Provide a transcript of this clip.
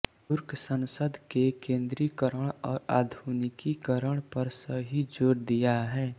तुर्क संसद के केंद्रीकरण और आधुनिकीकरण पर सही जोर दिया है